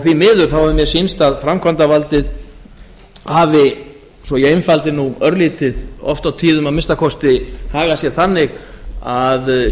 því miður hefur mér sýnst að framkvæmdarvaldið hafi svo ég einfaldi nú örlítið oft á tíðum að minnsta kosti hagað sér þannig að